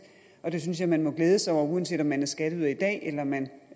det synes jeg at man må glæde sig over uanset om man er skatteyder i dag eller man